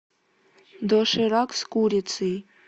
доширак с курицей